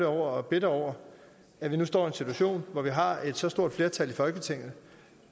over og bitter over at vi nu står i en situation hvor vi har et så stort flertal i folketinget